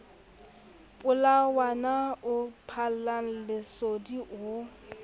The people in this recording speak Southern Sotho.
molatswana o phallang lesodi o